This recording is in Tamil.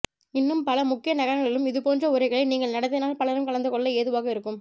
இன்னும் பல முக்கிய நகரங்களிலும் இதுபோன்ற உரைகளை நீங்கள் நடத்தினால் பலரும் கலந்துகொள்ள ஏதுவாக இருக்கும்